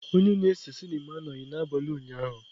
Onye na-ese sinima anọghị ya n'abalị ụnyaahụ.